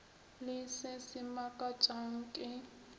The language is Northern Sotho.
le se se mmakatšang ke